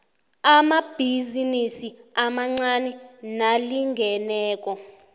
amabhizinisi amancani nalingeneko